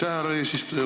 Aitäh, härra eesistuja!